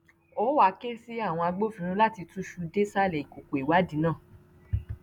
ó wàá ké sí àwọn agbófinró láti túṣu désàlẹ ìkòkò ìwádìí náà